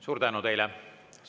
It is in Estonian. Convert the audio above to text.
Suur tänu teile!